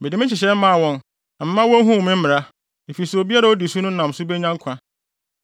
Mede me nhyehyɛe maa wɔn na mema wohuu me mmara, efisɛ obiara a odi so no nam so benya nkwa.